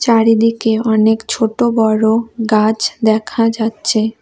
চারিদিকে অনেক ছোট বড়ো গাছ দেখা যাচ্ছে।